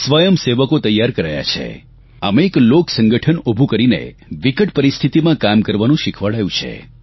સ્વયંસેવકો તૈયાર કરાયા છે આમ એક લોકસંગઠન ઉભું કરીને વિકટ પરિસ્થિતિમાં કામ કરવાનું શીખવાડાયું છે